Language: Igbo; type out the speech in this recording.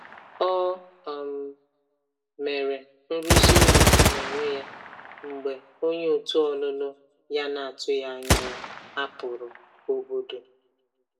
O um mere nrụzi ụlọ n'onwe ya mgbe onye òtù ọlụlụ ya na-atụghị anya ya hapụrụ obodo.